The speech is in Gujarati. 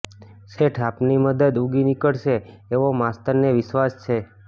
શેઠ આપની મદદ ઉગી નીકળશે એવો માસ્તરને વિશ્વાસ છે